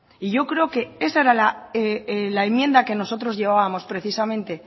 y yo creo que esa era la enmienda que nosotros llevábamos precisamente